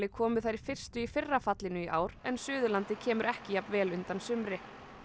komu þær fyrstu í fyrra fallinu í ár en Suðurlandið kemur ekki jafn vel undan sumri